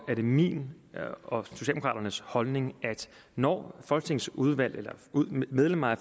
er det min og socialdemokraternes holdning at når et folketingsudvalg eller medlemmer af